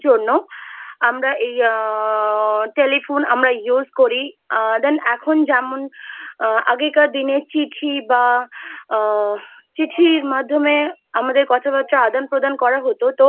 জন্যও আমরা এই আ Telephone আমরা Use করি। Then এখন যেমন আগেকার দিনে চিঠি বা আ চিঠির মাধ্যমে আমাদের কথা বার্তা আদান প্রদান করা হত তো